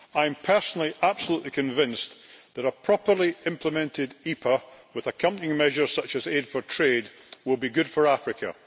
I am personally absolutely convinced that a properly implemented EPA with accompanying measures such as aid for trade will be good for Africa.